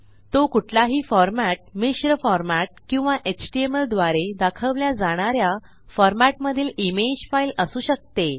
तो कुठलाही फॉर्मॅट मिश्र फॉर्मॅट किंवा एचटीएमएल द्वारे दाखवल्या जाणा या फॉरमॅटमधील इमेज फाइल असू शकते